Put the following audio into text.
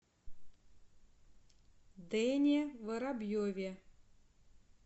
дэне воробьеве